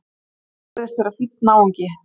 Hann virðist vera fínn náungi!